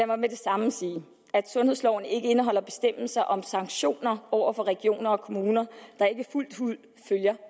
mig med det samme sige at sundhedsloven ikke indeholder bestemmelser om sanktioner over for regioner og kommuner der ikke fuldt ud følger